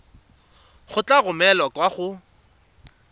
e tla romelwa kwa go